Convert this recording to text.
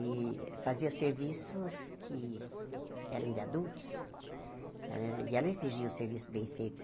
e fazia serviços que eram de adultos, eh e ela exigia o serviço bem feito.